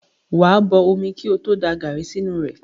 Wà á bo omi kí ó tó da gàrí sínú rẹ̀.